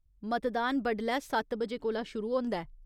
मतदान बडलै सत्त बजे कोला शुरू होंदा ऐ।